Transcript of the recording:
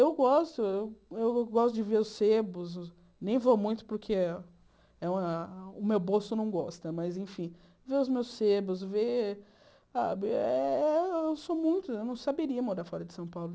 Eu gosto eu eu gosto de ver os cebos, nem vou muito porque eu eu o meu bolso não gosta, mas, enfim, ver os meus cebos, ver sabe... Eu sou muito... Eu não saberia morar fora de São Paulo.